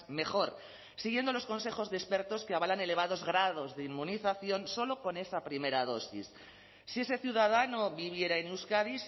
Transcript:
mejor siguiendo los consejos de expertos que avalan elevados grados de inmunización solo con esa primera dosis si ese ciudadano viviera en euskadi